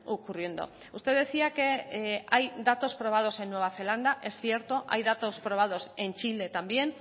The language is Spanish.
ocurriendo usted decía que hay datos probados en nueva zelanda es cierto hay datos probados en chile también